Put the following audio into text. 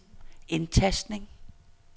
indtastning